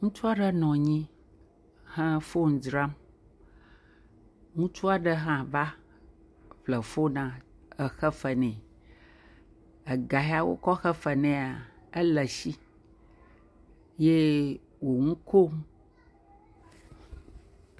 Ŋutsu aɖe nɔ anyi he foni dzram. Ŋutsu aɖe hã va ƒle fonia exe fe nɛ. Ega ya wokɔ xe fe nea ele esi. Ye wo nu kom.